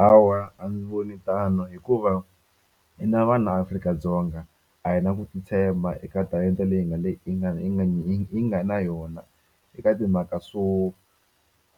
Hawa a ndzi voni tano hikuva hina vanhu la Afrika-Dzonga a hi na ku titshemba eka talenta leyi hi nga le hi nga hi nga hi nga na yona eka timhaka swo